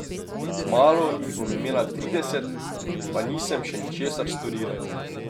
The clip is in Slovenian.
Kmalu jih bom imela trideset, pa nisem še ničesar storila.